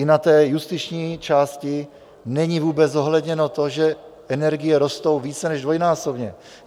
I na té justiční části není vůbec zohledněno to, že energie rostou více než dvojnásobně.